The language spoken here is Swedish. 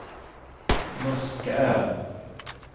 Muskö